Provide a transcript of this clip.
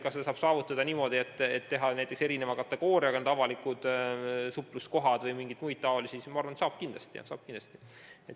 Kas seda saaks saavutada niimoodi, et jagada avalikud supluskohad kategooriatesse või kuidagi muul moel – ma arvan, et saaks kindlasti.